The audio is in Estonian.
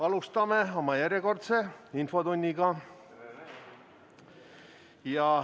Alustame oma järjekordset infotundi.